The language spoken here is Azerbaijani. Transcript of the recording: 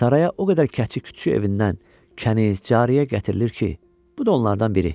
Sarayə o qədər kəçik-kütçü evindən, kəniz, cariyə gətirilir ki, bu da onlardan biri.